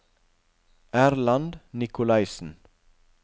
Erland Nicolaysen